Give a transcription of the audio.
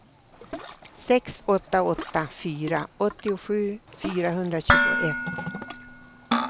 sex åtta åtta fyra åttiosju fyrahundratjugoett